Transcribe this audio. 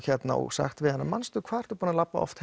sagt við hana manstu hvað ertu búin að labba oft